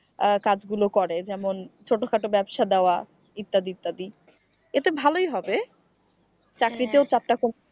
আহ কাজগুলো করে যেমন ছোটখাটো ব্যবসা দেওয়া ইত্যাদি ইত্যাদি এতে ভালই হবে চাকরিতে।